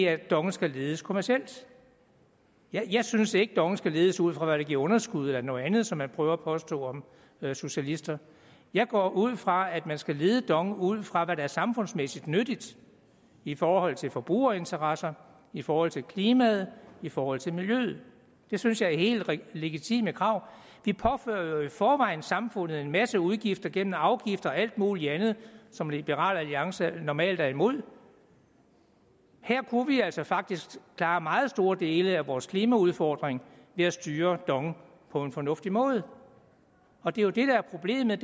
at dong skal ledes kommercielt jeg synes ikke at dong skal ledes ud fra hvad der giver underskud eller noget andet som man prøver at påstå om socialister jeg går ud fra at man skal lede dong ud fra hvad der er samfundsmæssigt nyttigt i forhold til forbrugerinteresser i forhold til klimaet i forhold til miljøet det synes jeg er helt legitime krav de påfører jo i forvejen samfundet en masse udgifter gennem afgifter og alt muligt andet som liberal alliance normalt er imod her kunne vi altså faktisk klare meget store dele af vores klimaudfordring ved at styre dong på en fornuftig måde og det er jo det der er problemet